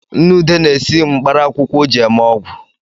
Nne ude na-esi mkparaakwụkwọ o ji eme ọgwu